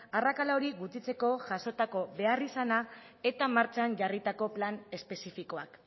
arrakala hori gutxitzeko jasotako beharrizana eta martxan jarritako plan espezifikoak